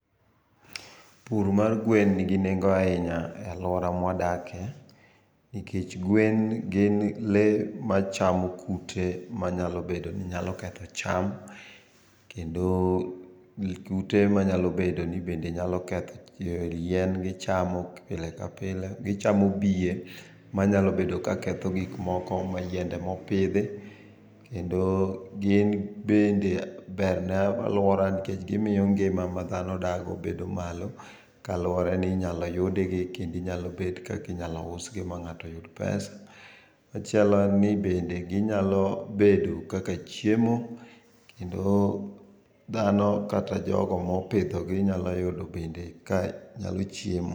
Pur mar Gwen ningi nengo' ahinya e aluora ma wadakie nikech ngwen gin le machamo kute manyalobedo ni nyalo ketho cham kendo kute manyalo bedo ni ketho yien, gichamo yien pile kapile, gichamo biye manyalo bedo ni ketho gik moko mayiende mopithi kendo gin bende ber ne aluora nikech gimiyo ngima ma Nga'to odakie bedo malo kaluwore ni inyalo yudgi kendo Kendo nyalobet kaka inyalo usgi ma nga'to uyud pesa. Machielo en ni bende ginyalo bedo kika chiemo kendo thano kata jogo mopithogi nyalo be ka nyalo chiemo